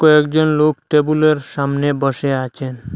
কয়েকজন লোক টেবুলের সামনে বসে আছেন।